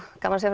gaman